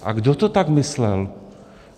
A kdo to tak myslel?